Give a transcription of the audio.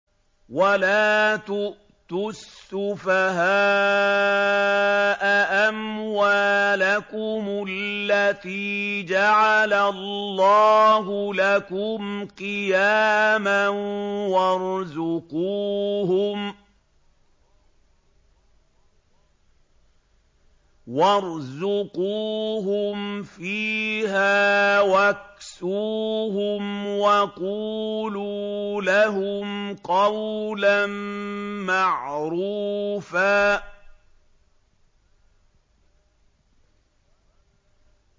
وَلَا تُؤْتُوا السُّفَهَاءَ أَمْوَالَكُمُ الَّتِي جَعَلَ اللَّهُ لَكُمْ قِيَامًا وَارْزُقُوهُمْ فِيهَا وَاكْسُوهُمْ وَقُولُوا لَهُمْ قَوْلًا مَّعْرُوفًا